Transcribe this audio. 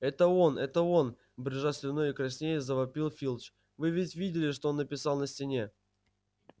это он это он брызжа слюной и краснея завопил филч вы ведь видели что он написал на стене